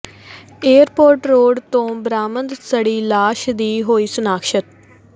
airport road ਤੋਂ ਬਰਾਮਦ ਸੜੀ ਲਾਸ਼ ਦੀ ਹੋਈ ਸ਼ਨਾਖਤ